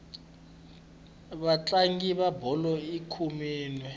vatlangi va bolo i khume nwe